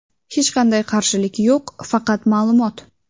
Hech qanday qarshilik yo‘q, faqat ma’lumot.